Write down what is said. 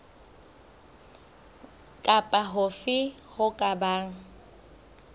kapa hofe ho ka bang